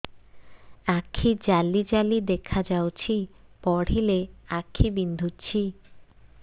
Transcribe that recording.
ଆଖି ଜାଲି ଜାଲି ଦେଖାଯାଉଛି ପଢିଲେ ଆଖି ବିନ୍ଧୁଛି